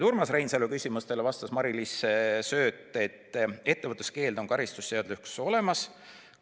Urmas Reinsalu küsimustele vastas Mari-Liis Sööt, et ettevõtluskeeld on karistusseadustikus olemas.